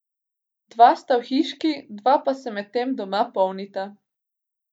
Dva sta v hiški, dva pa se medtem doma polnita.